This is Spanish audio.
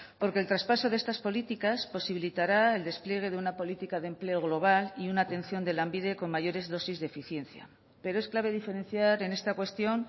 porque el traspaso de estas políticas posibilitará el despliegue de una política de empleo global y una atención de lanbide con mayores dosis de eficiencia pero es clave diferenciar en esta cuestión